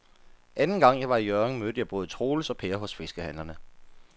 Anden gang jeg var i Hjørring, mødte jeg både Troels og Per hos fiskehandlerne.